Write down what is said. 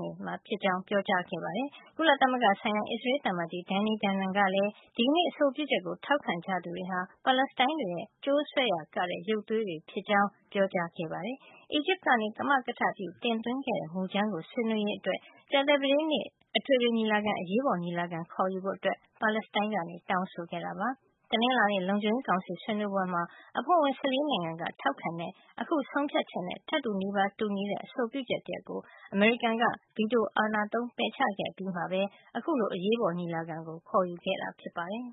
နေမှာ ဖြစ်ကြောင်း ပြောကြားခဲ့ပါတယ်။ ကုလသမဂ္ဂဆိုင်ရာ အစ္စရေး သံအမတ်ကြီး Danny Danon ကလည်း ဒီကနေ့ အဆိုပြုချက်ကို ထောက်ခံကြသူတွေဟာ ပါလက်စတိုင်းတွေရဲ့ ကြိုးဆွဲရာကတဲ့ ရုပ်သေးတွေဖြစ်ကြောင်း ပြောကြားခဲ့ပါတယ်။ အီဂျစ်က ကမကထ ပြု တင်သွင်းခဲ့တဲ့ မူကြမ်းကို ဆွေးနွေးရေးအတွက် ကြာသပတေးနေ့ အထွေထွေညီလာခံ အရေးပေါ် ညီလာခံ ခေါ်ယူဖို့ ပါလက်စတိုင်းက တောင်းဆိုခဲ့တာပါ။ တနင်္လာနေ့ လုံခြုံရေးကောင်စီ ဆွေးနွေးပွဲမှာ အဖွဲ့ဝင် ၁၄ နိုင်ငံက ထောက်ခံခဲ့တဲ့ အခုဆုံးဖြတ်ချက်နဲ့ ထပ်တူ နီးပါး တူညီတဲ့ အဆိုပြုချက် တရပ်ကို အမေရိကန်က ဗီတို အာဏာသုံး ပယ်ချခဲ့အပြီးမှာ အခုလို အရေးပေါ် ညီလာခံ ခေါ်ယူခဲ့တာ ဖြစ်ပါတယ်။